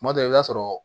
Tuma dɔ la i b'a sɔrɔ